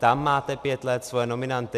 Tam máte pět let svoje nominanty.